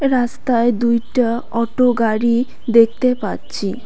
রাস্তায় দুইটা অটো গাড়ি দেখতে পাচ্ছি।